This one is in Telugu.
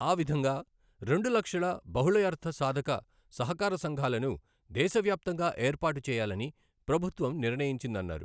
ఆ విధంగా రెండు లక్షల బాహుళయర్థసాధక సహకార సంఘాలను దేశ వ్యాప్తంగా ఏర్పాటు చేయాలని ప్రభుత్వం నిర్ణయించిందన్నారు.